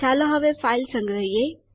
ચાલો હવે ફાઈલ સંગ્રહિયે